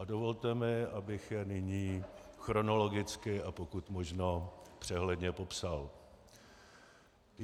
A dovolte mi, abych je nyní chronologicky a pokud možno přehledně popsal.